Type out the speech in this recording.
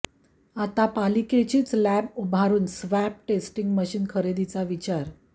आता पालिकेचीच लॅब उभारून स्वॅब टेस्टिंग मशीन खरेदीचा विचार